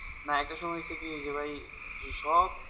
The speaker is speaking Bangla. না এটা সময় কি হচ্ছে কি যে ভাই সব,